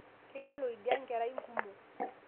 Keyiolo idia nkerai nkumo